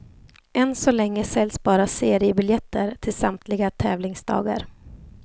Ännu så länge säljs bara seriebiljetter till samtliga tävlingsdagar.